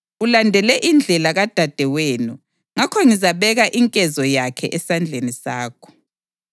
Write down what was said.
Ulandele indlela kadadewenu; ngakho ngizabeka inkezo yakhe esandleni sakho.